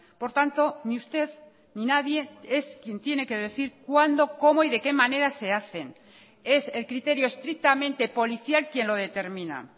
por tanto ni usted ni nadie es quien tiene que decir cuándo cómo y de qué manera se hacen es el criterio estrictamente policial quien lo determina